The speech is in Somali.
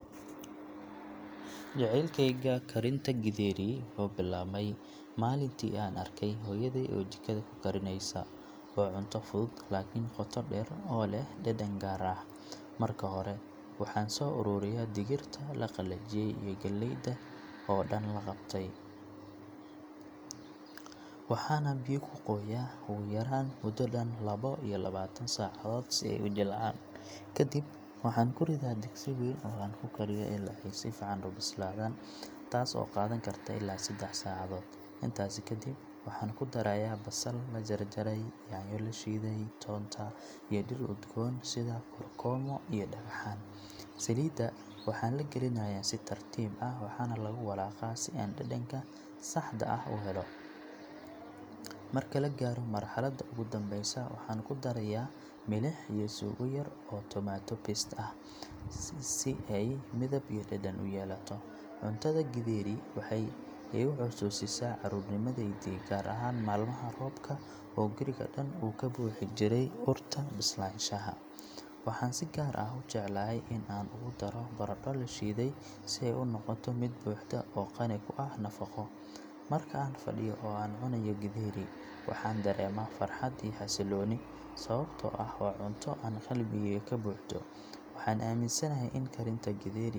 Jaceylkeyga karinta githeri wuxuu bilaabmay maalintii aan arkay hooyaday oo jikada ku karineysa. Waa cunto fudud laakiin qoto dheer leh oo leh dhadhan gaar ah. Marka hore, waxaan soo ururiyaa digirta la qalajiyey iyo galleyda oo dhan la qabtay, waxaana biyo ku qooyaa ugu yaraan muddo dhan laba iyo labaatan saacadood si ay u jilcaan. Kadib, waxaan ku ridaa digsi weyn oo aan ku karkariyo ilaa ay si fiican u bislaadaan, taas oo qaadan karta ilaa saddex saacadood. Intaasi kadib, waxaan ku darayaa basal la jarjaray, yaanyo la shiiday, toonta, iyo dhir udgoon sida kookoroomo iyo dhagaxan. Saliidda waxaa la gelinayaa si tartiib ah, waxaana lagu walaaqaa si aan dhadhanka saxda ah u helo. Marka la gaaro marxaladda ugu dambeysa, waxaan ku darayaa milix iyo suugo yar oo tomato paste ah si ay midab iyo dhadhan u yeelato. Cuntada githeri waxay igu xasuusisaa carruurnimadeydii, gaar ahaan maalmaha roobka oo guriga dhan uu ka buuxi jiray urta bislaanshaha. Waxaan si gaar ah u jeclahay in aan ugu daro baradho la shiiday si ay u noqoto mid buuxda oo qani ku ah nafaqo. Marka aan fadhiyo oo aan cunayo githeri, waxaan dareemaa farxad iyo xasillooni, sababtoo ah waa cunto aan qalbigayga ka buuxdo. Waxaan aaminsanahay in karinta githeri.